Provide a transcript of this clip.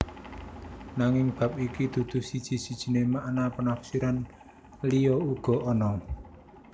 Nanging bab iki dudu siji sijiné makna penafsiran liya uga ana